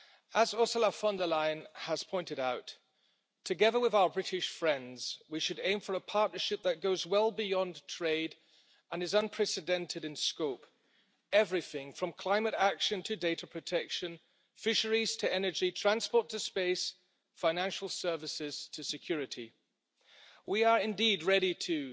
As Ursula von der Leyen has pointed out, together with our British friends, we should aim for a partnership that goes well beyond trade and is unprecedented in scope everything from climate action to data protection, fisheries to energy, transport to space, financial services to security. We are indeed ready to